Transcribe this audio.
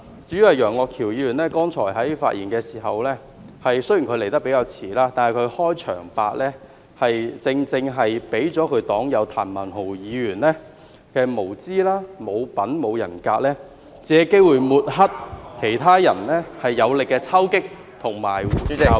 至於楊岳橋議員剛才的發言，雖然他比較遲才發言，但他的開場白正正顯示其黨友譚文豪議員的無知、無品、無人格，借機會抹黑其他人有力的抽擊及教育。